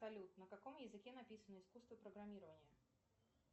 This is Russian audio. салют на каком языке написано искусство программирования